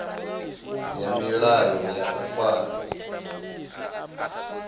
ya milayo ya u ifara